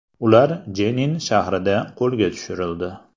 Ular Jenin shahrida qo‘lga tushirildi.